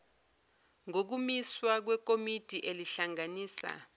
ngokumiswa kwekomiti elihlanganisa